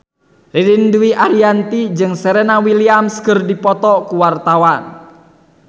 Ririn Dwi Ariyanti jeung Serena Williams keur dipoto ku wartawan